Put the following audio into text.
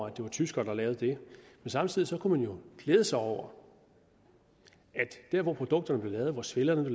at det var tyskere der lavede det men samtidig kunne man jo glæde sig over at produkterne svellerne